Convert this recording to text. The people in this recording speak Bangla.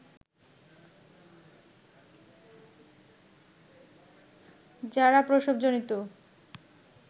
যারা প্রসবজনিত